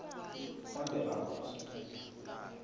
on the out